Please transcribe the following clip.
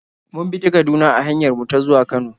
Mun bi ta Kaduna a hanyar mu ta zuwa Kano.